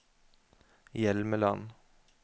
Hjelmeland